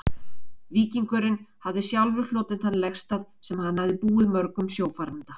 Víkingurinn hafði sjálfur hlotið þann legstað, sem hann hafði búið mörgum sjófaranda.